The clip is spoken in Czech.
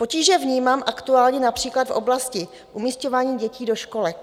Potíže vnímám aktuálně například v oblasti umisťování dětí do školek.